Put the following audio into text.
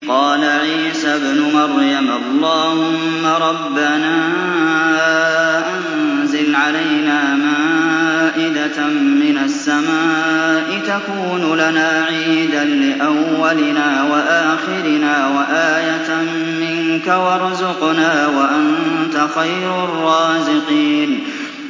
قَالَ عِيسَى ابْنُ مَرْيَمَ اللَّهُمَّ رَبَّنَا أَنزِلْ عَلَيْنَا مَائِدَةً مِّنَ السَّمَاءِ تَكُونُ لَنَا عِيدًا لِّأَوَّلِنَا وَآخِرِنَا وَآيَةً مِّنكَ ۖ وَارْزُقْنَا وَأَنتَ خَيْرُ الرَّازِقِينَ